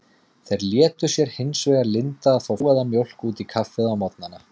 Þeir létu sér hins vegar lynda að fá flóaða mjólk út í kaffið á morgnana.